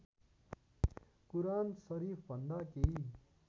कुरान सरिफभन्दा केही